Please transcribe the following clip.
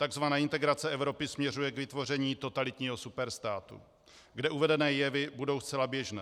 Takzvaná integrace Evropy směřuje k vytvoření totalitního superstátu, kde uvedené jevy budou zcela běžné.